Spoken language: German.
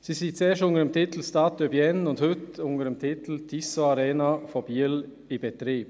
Dieser lief zuerst unter dem Titel «Stades de Bienne» und wird heute unter dem Titel «Tissot Arena» durch Biel betrieben.